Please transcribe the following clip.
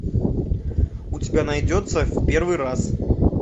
у тебя найдется в первый раз